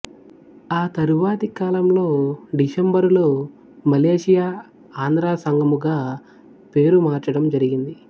ఆ తరువాతి కాలంలో డిసెంబరులో మలేషియా ఆంధ్ర సంఘముగా పేరు మార్చడం జరిగింది